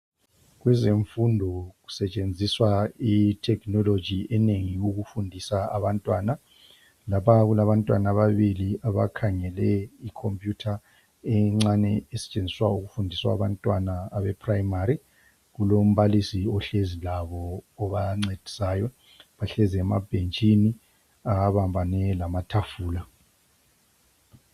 Kwezemfundo kusetsenziswa i technology enengi ukufundisa abantwana laphana kulabantwana ababili abakhangele ikhompuyutha encane esetsenziswa ukufundiswa abantwana abe primary kulombalisi ohlezi labo obancedisayo bahlezi mabhentshini abambane lamathafula .